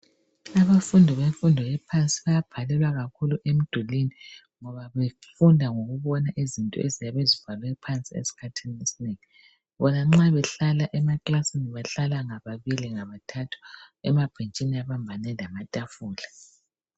Abafundi bemfundo ephansi bayabhalelwa kakhulu emdulwini ngoba befunda ngokubona izinto eziyabe zibhalwe phansi esikhathini esinengi. Bona nxa behlala emaklasini behlala ngababili ngabathathu emabhentshini abambane lamatafula.